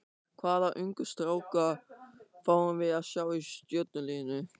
Hvaða ungu stráka fáum við að sjá í Stjörnuliðinu?